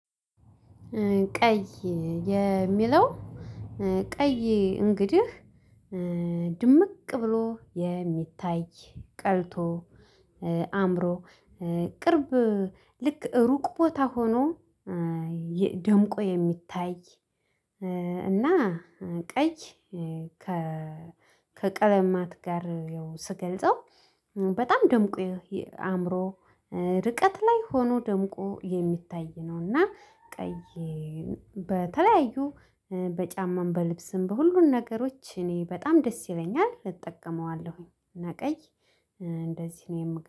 ቀይ የሚለው ቀይ እንግዲህ ድምቅ ብሎ የሚታይ ቀልቶ አምሮ ቅርብ ልክ ሩቅ ቦታ ሆኖ የ ደምቆ የሚታይ እና ቀይ ከቀለማት ጋር ስገልጸው በጣም ደምቆ የሚ አእምሮ ርቀት ላይ ሆኖ ደምቆ የሚታይ ነውና። ቀይ በተለያዩ በጫማም በልብስም በሁሉም ነገሮች እኔ በጣም ደስ ይለኛል እጠቀመዋለሁኝ በቀይ እንደዚህ ነው የምገኘው